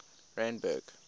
randburg